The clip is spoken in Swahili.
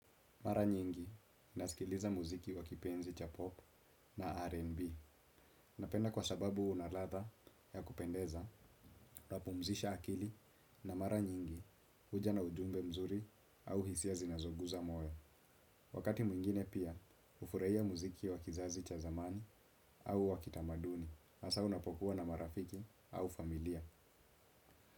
Mara nyingi, nasikiliza muziki wa kipenzi cha pop na R&B. Napenda kwa sababu unaladha ya kupendeza, unapumzisha akili na mara nyingi huja na ujumbe mzuri au hisia zinazoguza moyo. Wakati mwingine pia, hufurahia muziki wa kizazi cha zamani au wakitamaduni. Hasa unapokuwa na marafiki au familia.